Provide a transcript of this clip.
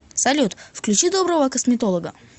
салют включи доброго косметолога